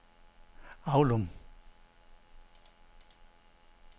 Avlum